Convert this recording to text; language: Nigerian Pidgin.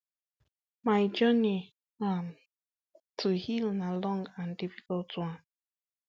my journey um to heal na long and difficult one